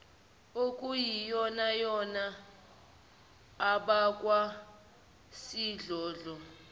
okuyiyonayona abakwa sidlodlo